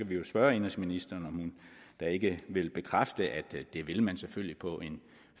vi jo spørge indenrigsministeren om hun da ikke vil bekræfte at det vil man selvfølgelig på en